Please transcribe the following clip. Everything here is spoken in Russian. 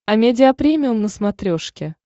амедиа премиум на смотрешке